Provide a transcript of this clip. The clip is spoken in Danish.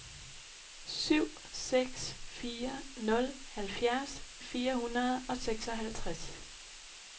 syv seks fire nul halvfjerds fire hundrede og seksoghalvtreds